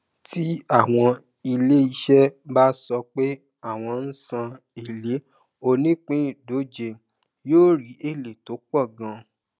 tí àwọn iléiṣẹ bá sọ pé àwọn ń san èlé onípindóje yóò rí èlé tó pò ganan